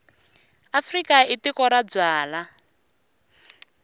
afrika i tiko ra ku byala